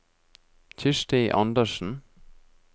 Kirsti Andersen